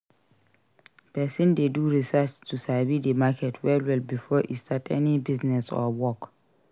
Persin de do research to sabi the market well well before e start any business or work